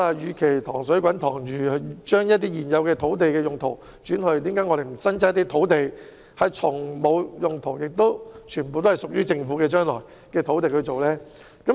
與其"塘水滾塘魚"，只是改變現有土地用途，我們何不另闢土地，使用沒有其他用途及全部屬於政府的土地來發展？